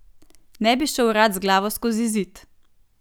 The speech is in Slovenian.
Ne bi šel rad z glavo skozi zid.